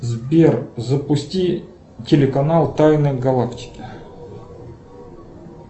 сбер запусти телеканал тайны галактики